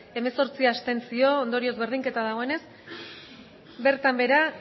hemezortzi abstentzio ondorioz berdinketa dagoenez bertan behera